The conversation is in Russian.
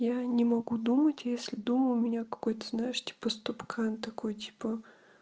я не могу думать если дома у меня какой-то знаешь типа ступкан такой типа